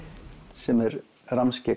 sem er